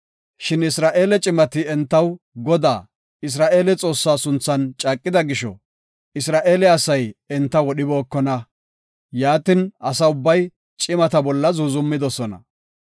Shin Isra7eele cimati entaw Godaa, Isra7eele Xoossaa sunthan caaqida gisho, Isra7eele asay enta wodhibookona. Yaatin, asa ubbay cimata bolla zuuzumidosona.